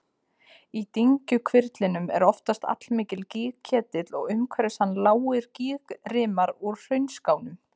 Í dyngjuhvirflinum er oftast allmikill gígketill og umhverfis hann lágir gígrimar úr hraunskánum.